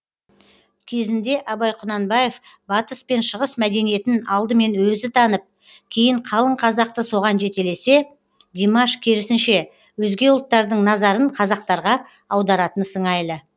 кезінде абай құнанбаев батыс пен шығыс мәдениетін алдымен өзі танып кейін қалың қазақты соған жетелесе димаш керісінше өзге ұлттардың назарын қазақтарға аударатын сыңайлы